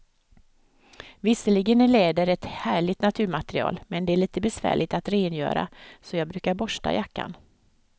Visserligen är läder ett härligt naturmaterial, men det är lite besvärligt att rengöra, så jag brukar borsta jackan.